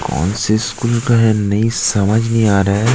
कौन से स्कूल का है नहीं समझ नहीं आ रहा है।